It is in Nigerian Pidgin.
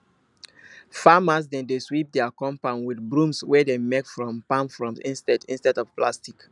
farmers dem dey sweep dia compound with broms wey dem make from palm fronds instead instead of plastic